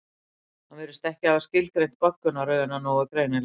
hann virðist ekki hafa skilgreint goggunarröðina nógu greinilega